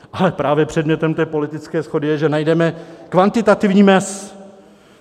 Ale právě předmětem té politické shody je, že najdeme kvantitativní mez.